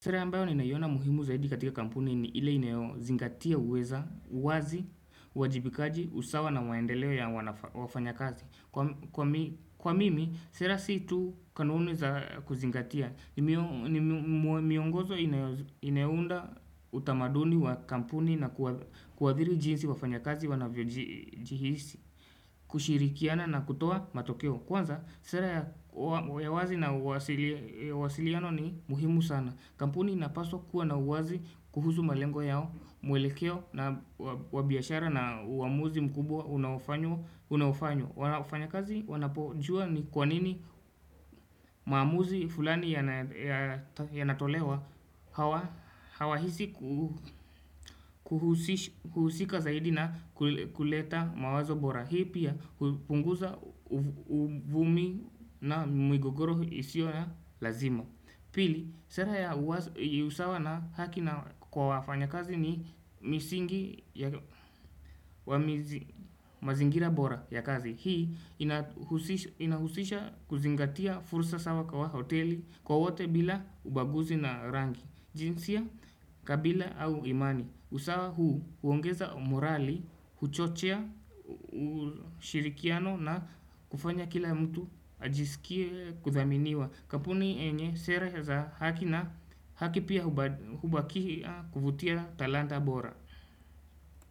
Sera ambayo ninaiona muhimu zaidi katika kampuni ni ile inayozingatia uweza uwazi uwajibikaji usawa na maendeleo ya wafanyakazi kwa kwa mimi sera si tu kanuni za kuzingatia ni mio miongozo inayounda utamaduni wa kampuni na kuathiri jinsi wafanya kazi wanavyojihisi kushirikiana na kutoa matokeo kwanza sera ya wazi na uwasiliano ni muhimu sana kampuni inapaswa kuwa na uwazi kuhusu malengo yao mwelekeo na wa biashara na uamuzi mkubwa unaowafanywa wafanyakazi wanapojua ni kwanini maamuzi fulani yanatolewa hawahisi kuhusika zaidi na kuleta mawazo bora hii pia hupunguza uvumi na migogoro isiyo ya lazima pili sera ya uwazi usawa na haki na kwa wafanyakazi ni misingi wa mazingira bora ya kazi hii inahusisha kuzingatia fursa sawa kwa wa hoteli kwa wote bila ubaguzi na rangi jinsia kabila au imani usawa huu huongeza umorali huchochea ushirikiano na kufanya kila mtu ajisikie kuthaminiwa kampuni yenye sera za haki na haki pia hubakia kuvutia talanta bora.